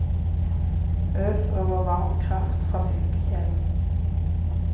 Øs over varm kraft fra fiskekjelen.